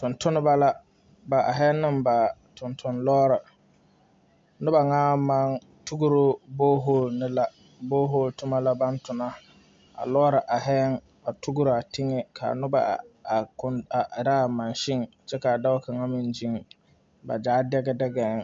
Tontonneba la bahi ne ba tontone loori noba ŋa naŋ maŋ tugru bɔɔhɔle ne la bɔɔhɔle toma ka ba tona a loori ahi yɛŋ a tugru a teŋɛ ka a noba ahi a erɛ a mansin kyɛ ka dɔɔ kaŋa meŋ gyeŋ ba gyaa degi degie.